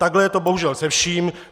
Takhle je to bohužel se vším.